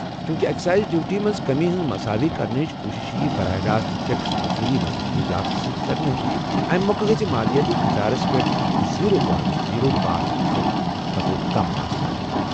چونکہ excise duty منٛز کٔمی ہٕنٛز مساوی کرنٕچ کوٗشش ییہِ براہ راست ٹیکس وصولی منٛز اضافہٕ سۭتۍ کرنہٕ، اَمی مۄکھٕ گژھِ مالیٲتی خسارس پٮ۪ٹھ زیٖرو پنونٹ زیٖرو پانژھ فیصد کھوتہٕ کم آسہٕ۔